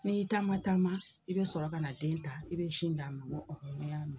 N'i taama taama i be sɔrɔ kana den ta i be sin d'a ma ŋo ne y'a mɛ.